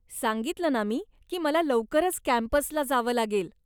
सांगितलं ना मी की मला लवकरच कॅम्पसला जावं लागेल.